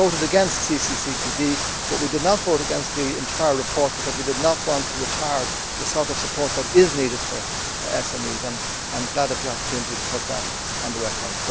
We voted against CCCTB, but we did not vote against the entire report because we did not want to retard the sort of support that is needed for SMEs, and I am glad of the opportunity to put that on record.